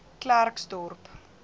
klerksdorp